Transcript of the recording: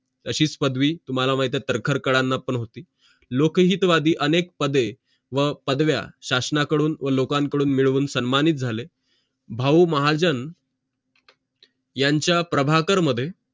अशीच पदवी तुम्हाला माहित आहे तर्खडकरांना पण होती लोकहितवादी अनेक पदे व पदव्या शासन कडून व लोकं कडून मिडवून सन्मानित झाले भाऊ महाजन यांचा प्रभाकर मध्ये